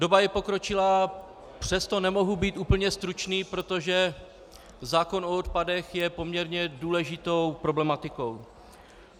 Doba je pokročilá, přesto nemohu být úplně stručný, protože zákon o odpadech je poměrně důležitou problematikou.